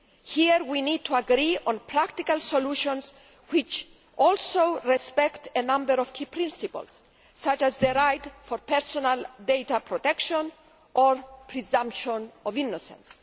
Here, we need to agree on practical solutions which also respect a number of key principles, such as the right to personal data protection and the presumption of innocence.